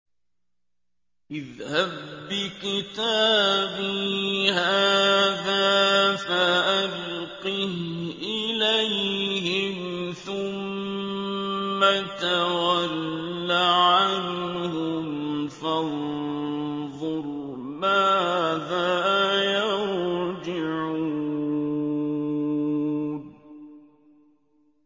اذْهَب بِّكِتَابِي هَٰذَا فَأَلْقِهْ إِلَيْهِمْ ثُمَّ تَوَلَّ عَنْهُمْ فَانظُرْ مَاذَا يَرْجِعُونَ